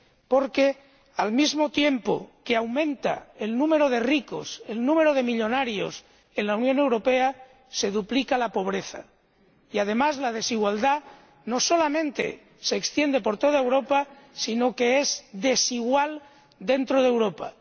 Porque, al mismo tiempo que aumenta el número de ricos, el número de millonarios en la Unión Europea, se duplica la pobreza y, además, la desigualdad no solamente se extiende por toda Europa, sino que es desigual dentro de Europa.